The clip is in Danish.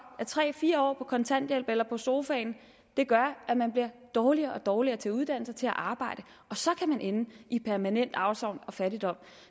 at tre fire år på kontanthjælp eller på sofaen gør at man bliver dårligere og dårligere til at uddanne sig og til at arbejde og så kan man ende i permanent afsavn og fattigdom